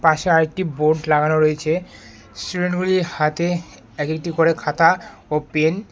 পাশে আরেকটি বোর্ড লাগানো রয়েছে স্টুডেন্টগুলির হাতে এক একটি করে খাতা ও পেন ।